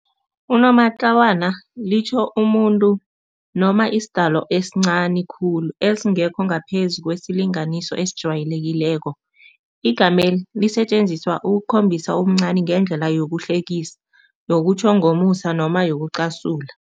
Unomatlawana litjho umuntu noma isidalo esincani khulu, esingekho ngaphezu kwesilinganiso esijwayelekileko. Igameli lisetjenziswa ukukhombisa ubuncani ngendlela yokuhlekisa, yokutjho ngomusa noma yokucasula.